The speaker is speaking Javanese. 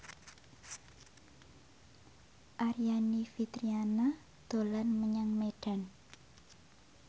Aryani Fitriana dolan menyang Medan